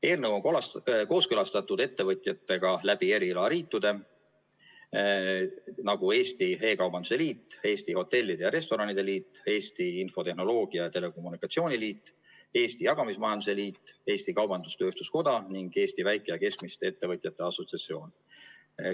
Eelnõu on kooskõlastatud ettevõtjatega läbi erialaliitude, nagu Eesti E-kaubanduse Liit, Eesti Hotellide ja Restoranide Liit, Eesti Infotehnoloogia ja Telekommunikatsiooni Liit, Eesti Jagamismajanduse Liit, Eesti Kaubandus-Tööstuskoda ning Eesti Väike- ja Keskmiste Ettevõtjate Assotsiatsioon.